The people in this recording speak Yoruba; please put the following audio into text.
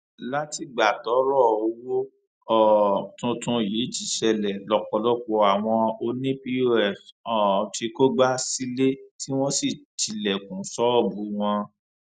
látìgbà tọrọ owó um tuntun yìí ti ṣẹlẹ lọpọlọpọ àwọn ọnì pọs um ti kógbá sílé tí wọn ti tilẹkùn ṣọọbù wọn